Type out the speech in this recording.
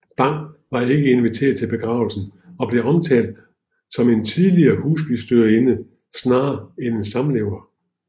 Bang var ikke inviteret til begravelsen og blev omtalt som en tidligere husbestyrerinde snarere end en samlever